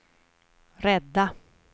rädda